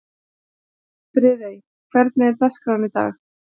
Friðey, hvernig er dagskráin í dag?